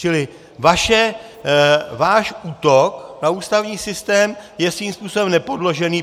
Čili váš útok na ústavní systém je svým způsobem nepodložený.